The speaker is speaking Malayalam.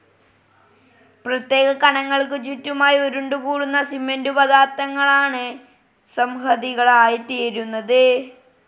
പ്രത്യേക കണങ്ങൾക്കു ചുറ്റുമായി ഉരുണ്ടുകൂടുന്ന സിമന്റു പദാർഥങ്ങളാണ് സംഹതികളായിത്തീരുന്നത്.